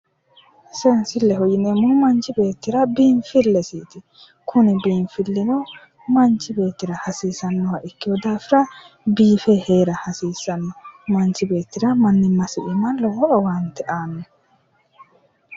Seensilleho yineemmohu manchi beettira biinfillesiiti kuni biinfillino manchi beettira hasiisannoha ikkino daafira biife heera hasiissanno manchi beettira mannimmasi iima lowo owaante aanno